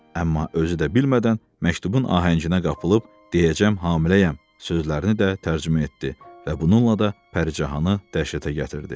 Amma özü də bilmədən məktubun ahənginə qapılıb "deyəcəm hamiləyəm" sözlərini də tərcümə etdi və bununla da Pəricahanı dəhşətə gətirdi.